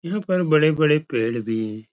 यहाँ पर बड़े- बड़े पेड़ भी हैं।